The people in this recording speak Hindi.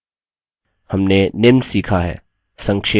हमने निम्न सीखा है संक्षेप में